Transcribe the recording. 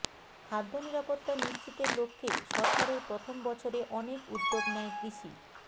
খাদ্য নিরাপত্তা নিশ্চিতের লক্ষ্যে সরকারের প্রথম বছরে অনেক উদ্যোগ নেয় কৃষি